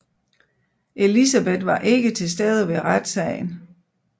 Elizabeth var ikke til stede ved retssagen